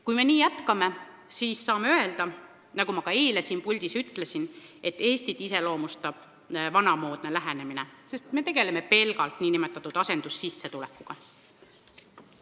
Kui me nii jätkame, siis saame öelda, nagu ma ka eile siin puldis ütlesin, et Eestit iseloomustab vanamoodne lähenemine, sest me tegeleme pelgalt nn asendussissetulekuga.